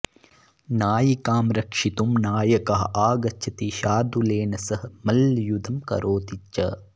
नायिकां रक्षितुं नायकः आगच्छति शार्दुलेन सह मल्लयुद्धं करोति च